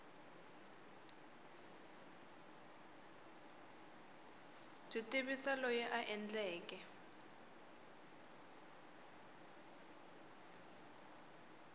byi tivisa loyi a endleke